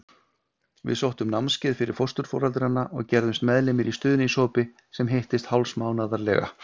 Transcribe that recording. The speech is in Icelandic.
Við sóttum námskeið fyrir fósturforeldra og gerðumst meðlimir í stuðningshópi sem hittist hálfsmánaðarlega.